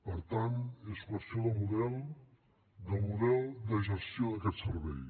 per tant és qüestió de model de model de gestió d’aquest servei